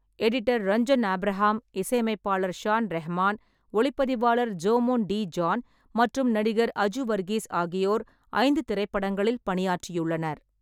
Editor Ranjan Abraham, இசையமைப்பாளர் ஷான் ரஹ்மான், ஒளிப்பதிவாளர் ஜோமோன் டி.ஜான் மற்றும் நடிகர் அஜு வர்கீஸ் ஆகியோர் ஐந்து திரைப்படங்களில் பணியாற்றியுள்ளனர்.